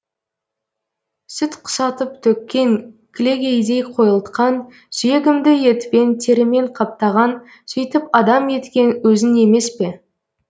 сүт құсатып төккен кілегейдей қойылтқан сүйегімді етпен терімен қаптаған сөйтіп адам еткен өзің емес пе